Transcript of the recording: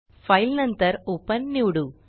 file नंतर open निवडू